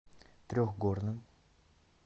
трехгорным